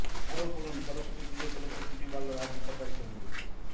আরও পড়ুন সরস্বতী পুজো উপলক্ষ্যে ছুটি বাড়ল রাজ্য সরকারি কর্মীদের